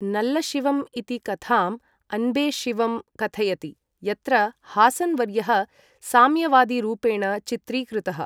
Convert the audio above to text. नल्लशिवम् इति कथां अन्बे सिवम् कथयति, यत्र हासन् वर्यः साम्यवादीरूपेण चित्रीकृतः।